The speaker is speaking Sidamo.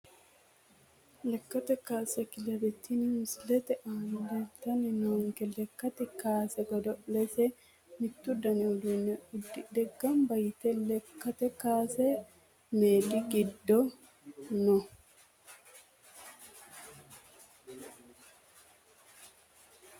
Lekate kaase kelebe tini misilete aana leeltani noonke lekate laase godo`laasine mittu dani uduune udidhe ganba yite lekate kaase meedi gido no.